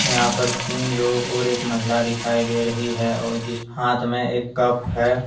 यहां पर तीन लोग और एक महिला दिखाई दे रही है। और जिस हाथ में एक कप है।